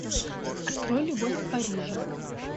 открой любовь в париже